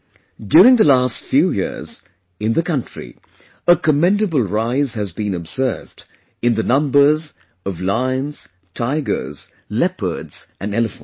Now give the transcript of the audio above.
During the last few years, in the country, a commendable rise has been observed in the numbers of lions, tigers, leopards and elephants